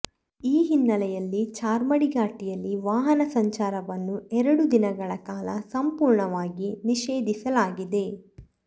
ಈ ಹಿನ್ನೆಲೆಯಲ್ಲಿ ಚಾರ್ಮಾಡಿ ಘಾಟಿಯಲ್ಲಿ ವಾಹನ ಸಂಚಾರವನ್ನೂ ಎರಡು ದಿನಗಳ ಕಾಲ ಸಂಪೂರ್ಣವಾಗಿ ನಿಷೇಧಿಸಲಾಗಿದೆ